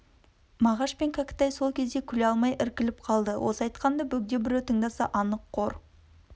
мағаш пен кәкітай сол кезде күле алмай іркіліп қалды осы айтқанынды бөгде біреу тыңдаса анық қор